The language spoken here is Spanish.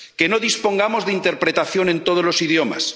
que no dispongamos de interpretación en todos los idiomas.